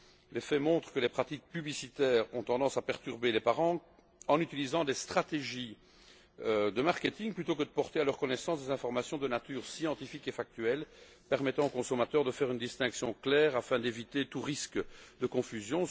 Les faits montrent que les pratiques publicitaires ont tendance à perturber les parents en utilisant des stratégies de marketing plutôt que de porter à leur connaissance des informations de nature scientifique et factuelle permettant aux consommateurs de faire une distinction claire afin d'éviter tout risque de confusion.